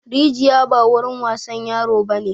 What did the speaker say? Rijiya ba wurin wasan yaro ba ne!